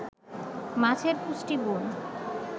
মাছের পুষ্টিগুণ